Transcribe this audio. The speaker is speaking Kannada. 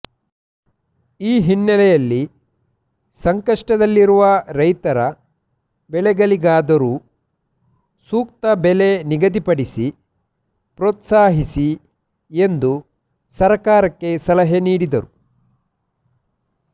ಈ ಹಿನ್ನೆಲೆಯಲ್ಲಿ ಸಂಕಷ್ಟದಲ್ಲಿರುವ ರೈತರ ಬೆಳೆಗಳಿಗಾದರೂ ನೂಕ್ತ ಬೆಲೆ ನಿಗದಿಪಡಿಸಿ ಪ್ರೋತ್ಸಾಹಿಸಿ ಎಂದು ಸರ್ಕಾರಕ್ಕೆ ಸಲಹೆ ನೀಡಿದರು